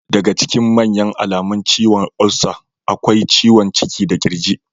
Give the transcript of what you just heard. Daga ciikin manya alamun ciwon olsa akwai ciwon ciki da kirji.